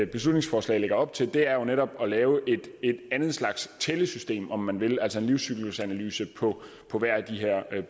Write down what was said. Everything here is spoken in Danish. beslutningsforslag lægger op til det er jo netop at lave et andet slags tællesystem om man vil altså en livscyklusanalyse på hver af de her